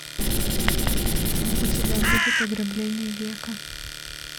у тебя будет ограбление века